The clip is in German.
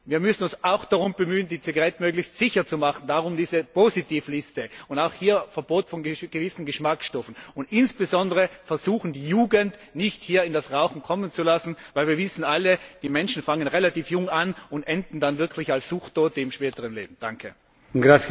Wir müssen uns auch darum bemühen, die Zigaretten möglichst sicher zu machen darum diese Positivliste und auch hier ein Verbot von gewissen Geschmacksstoffen und insbesondere versuchen, die Jugend nicht in das Rauchen kommen zu lassen, weil wir alle wissen Die Menschen fangen relativ jung an und enden dann wirklich im späteren Leben als Suchttote.